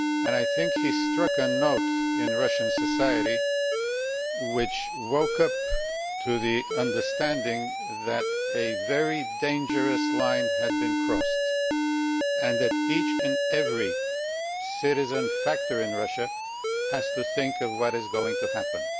I think she struck a note in Russian society which woke up to the understanding that a very dangerous line had been crossed, and that each and every citizen in Russia has to think about what is going to happen.